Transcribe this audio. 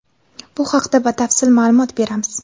Bu haqida batafsil ma’lumot beramiz.